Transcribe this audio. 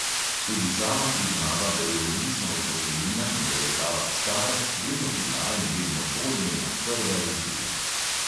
Tudi sama priznava, da je odvisna od kofeina in da je kava star vedno bila in vedno bo njena prva izbira.